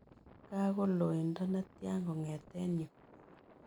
Gaa kol looindo netian kong'eten yu